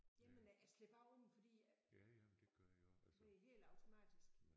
Jamen jeg slår bare om fordi ved helt automatisk